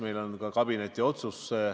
Meil on ka kabineti otsus.